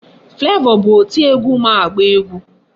Flavor bụ oti egwu ma agba egwu.